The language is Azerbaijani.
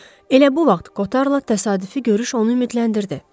Elə bu vaxt Kotarla təsadüfi görüş onu ümidləndirdi.